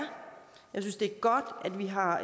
godt at vi har